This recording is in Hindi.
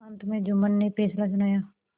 अंत में जुम्मन ने फैसला सुनाया